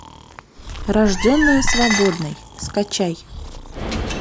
рожденная свободной скачай